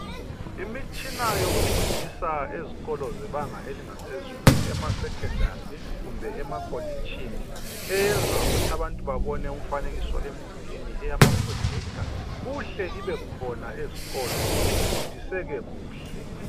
Imitshina yokufundisa ezikolo zebanga eliphezulu, emasekhondari kumbe emakolitshini, eyenza ukuthi abantu babone umfanekiso emdulini eyamaphrojektha, kuhle ibe khona ezikolo kufundiseke kuhle.